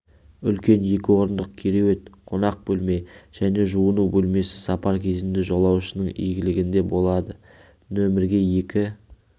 үлкен екі орындық кереует қонақ бөлме және жуыну бөлмесі сапар кезінде жолаушының игілігінде болады нөмерге екі